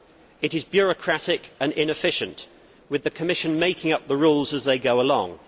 It is bureaucratic and inefficient with the Commission making up the rules as they go along.